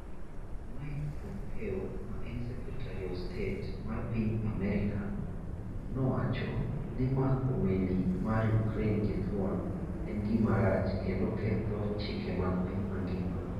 Mike Pompeo ma en Secretary of State mar piny Amerka, nowacho ni mako meli mar Ukraine gi thuon, en gima rach kendo ketho chike mag piny mangima.